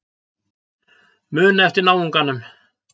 Muna eftir náunganum.